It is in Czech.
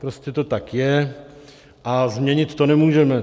Prostě to tak je a změnit to nemůžeme.